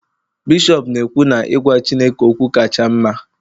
bishọp na-ekwu na I gwa chineke okwu kacha mma